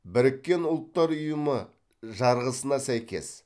біріккен ұлттар ұйымы жарғысына сәйкес